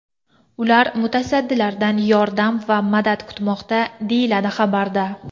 Ular mutasaddilardan yordam va madad kutmoqda, deyiladi xabarda.